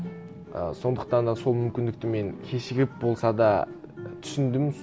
ы сондықтан да сол мүмкіндікті мен кешігіп болса да түсіндім